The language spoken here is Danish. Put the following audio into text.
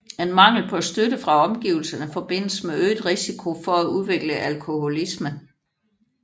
En mangel på støtte fra omgivelserne forbindes med øget risiko for at udvikle alkoholisme